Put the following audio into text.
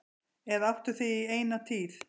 Eða áttu þig í eina tíð.